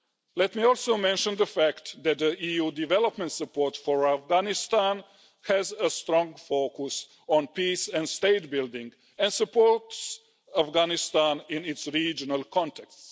Let me also mention the fact that the EU development support for Afghanistan has a strong focus on peace and state building and supports Afghanistan in its regional contacts.